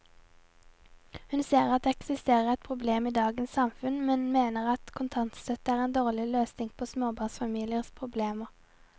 Hun ser at det eksisterer et problem i dagens samfunn, men mener at kontantstøtte er en dårlig løsning på småbarnsfamiliers problemer.